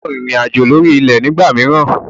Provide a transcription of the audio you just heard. O gbọdọ̀ rìnrìn àjò lórí ilẹ̀ ní ìgbà mìíràn.